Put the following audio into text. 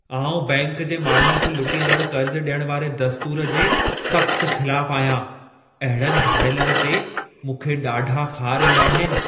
आउं, बैंक जे माण्हुनि खे लुटींदड़ु कर्ज़ ॾियण वारे दस्तूर जे सख़्तु ख़िलाफ़ु आहियां। अहिड़नि धाड़ेलनि ते मूंखे ॾाढा ख़ार ईंदा आहिनि।